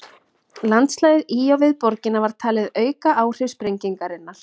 landslagið í og við borgina var talið auka áhrif sprengingarinnar